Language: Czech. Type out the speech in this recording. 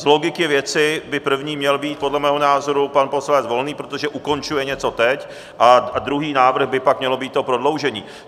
Z logiky věci by první měl být podle mého názoru pan poslanec Volný, protože ukončuje něco teď, a druhý návrh by pak mělo být to prodloužení.